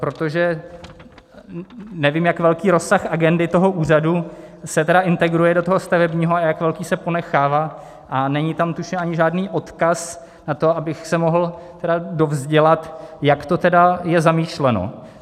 Protože nevím, jak velký rozsah agendy toho úřadu se tedy integruje do toho stavebního a jak velký se ponechává, a není tam, tuším, ani žádný odkaz na to, abych se mohl tedy dovzdělat, jak to tedy je zamýšleno.